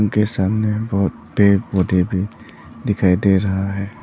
के सामने बहोत पेड़ पौधे भी दिखाई दे रहा है।